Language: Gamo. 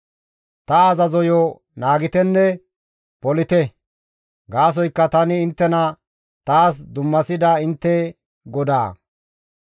Ta azazoyo naagitenne polite; gaasoykka tani inttena taas dummasida intte GODAA.